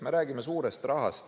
Me räägime suurest rahast.